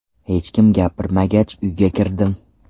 Hech kim gapirmagach uyga kirdim.